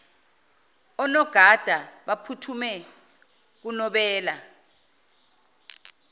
onogada baphuthume kunobela